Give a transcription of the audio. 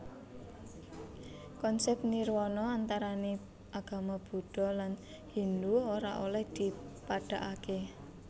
Konsèp nirwana antarané agama Buddha lan Hindu ora olèh dipadhakaké